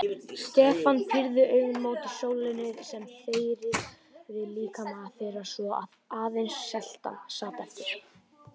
Stefán pírði augun mót sólinni sem þerraði líkama þeirra svo að aðeins seltan sat eftir.